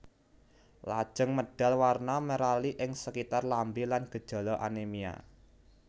Lajeng medal warna merali ing sekitar lambé lan gejala anémia